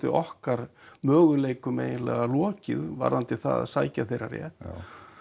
okkar möguleikum lokið varðandi það að sækja þeirra rétt já